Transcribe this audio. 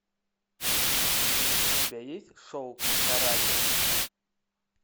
у тебя есть шоу каратель